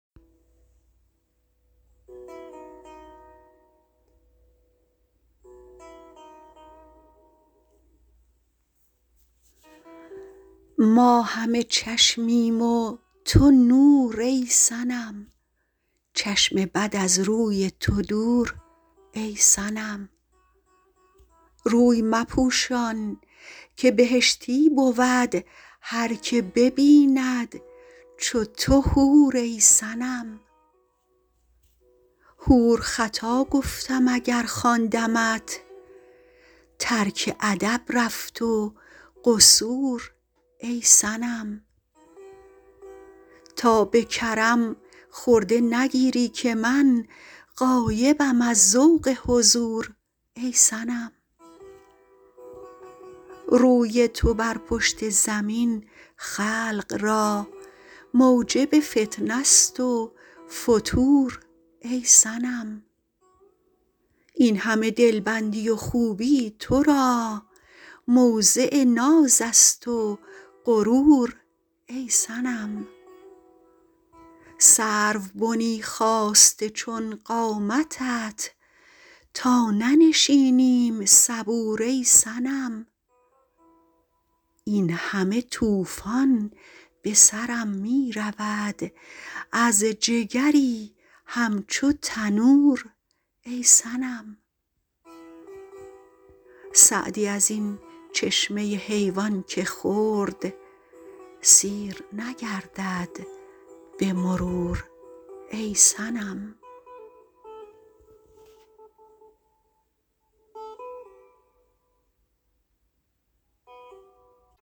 ما همه چشمیم و تو نور ای صنم چشم بد از روی تو دور ای صنم روی مپوشان که بهشتی بود هر که ببیند چو تو حور ای صنم حور خطا گفتم اگر خواندمت ترک ادب رفت و قصور ای صنم تا به کرم خرده نگیری که من غایبم از ذوق حضور ای صنم روی تو بر پشت زمین خلق را موجب فتنه ست و فتور ای صنم این همه دلبندی و خوبی تو را موضع ناز است و غرور ای صنم سروبنی خاسته چون قامتت تا ننشینیم صبور ای صنم این همه طوفان به سرم می رود از جگری همچو تنور ای صنم سعدی از این چشمه حیوان که خورد سیر نگردد به مرور ای صنم